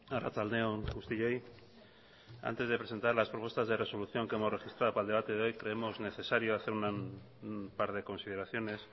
arratsalde on guztioi antes de presentar las propuestas de resolución que hemos registrado para el debate de hoy creemos necesario hacer un par de consideraciones